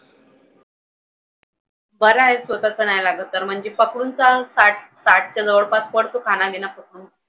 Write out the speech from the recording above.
बरं आहे स्वतःचं नाही लागत तर. म्हणजे पकडून चल साठ साठच्या जवळपास पडतो खानापिना पकडून.